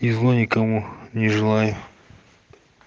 и зло никому не желаю